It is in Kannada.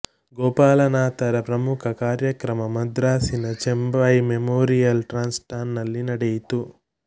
ಗೋಪಾಲನಾಥರ ಪ್ರಥಮ ಕಾರ್ಯಕ್ರಮ ಮದ್ರಾಸಿನ ಚೆಂಬೈ ಮೆಮೋರಿಯಲ್ ಟ್ರಸ್ಟ್ನಲ್ಲಿ ನಡೆಯಿತು